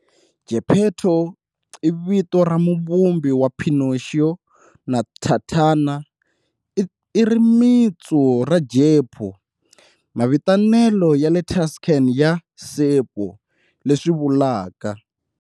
Geppetto, i vito ra muvumbi wa Pinocchio na"tatana", i rimitsu ra Geppo, mavitanelo ya le Tuscan ya"ceppo", leswi vulaka